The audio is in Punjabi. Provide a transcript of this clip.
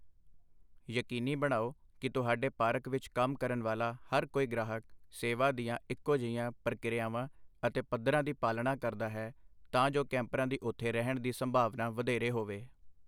ਯਕੀਨੀ ਬਣਾਓ ਕਿ ਤੁਹਾਡੇ ਪਾਰਕ ਵਿੱਚ ਕੰਮ ਕਰਨ ਵਾਲਾ ਹਰ ਕੋਈ ਗ੍ਰਾਹਕ ਸੇਵਾ ਦੀਆਂ ਇੱਕੋ ਜਿਹੀਆਂ ਪ੍ਰਕਿਰਿਆਵਾਂ ਅਤੇ ਪੱਧਰਾਂ ਦੀ ਪਾਲਣਾ ਕਰਦਾ ਹੈ ਤਾਂ ਜੋ ਕੈਂਪਰਾਂ ਦੀ ਉਥੇ ਰਹਿਣ ਦੀ ਸੰਭਾਵਨਾ ਵਧੇਰੇ ਹੋਵੇ।